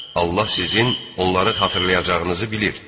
Allah sizin onları xatırlayacağınızı bilir.